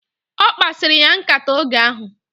Okpasiri ya nkata oge ahu